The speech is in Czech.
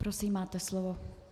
Prosím, máte slovo.